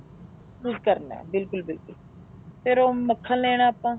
ਸਭ ਕੁੱਛ ਕਰਨਾ ਬਿਲਕੁਲ ਬਿਲਕੁਲ ਫ਼ੇਰ ਉਹ ਮੱਖਣ ਲੈਣਾ ਆਪਾਂ